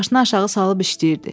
Başına aşağı salıb işləyirdi.